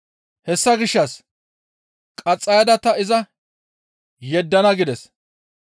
Hessa gishshas qaxxayada ta iza yeddana» gides.